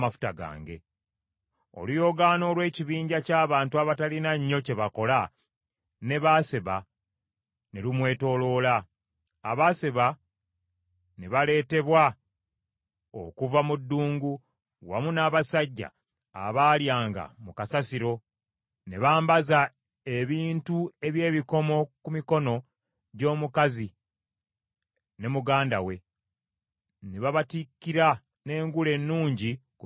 “Oluyoogaano olw’ekibinja ky’abantu abatalina nnyo kye bakola ne Abaseba ne lumwetooloola; Abaseba ne baleetebwa okuva mu ddungu wamu n’abasajja abaalyanga mu kasasiro, ne bambaza ebintu eby’ebikomo ku mikono gy’omukazi ne muganda we, ne babatikkira n’engule ennungi ku mitwe gyabwe.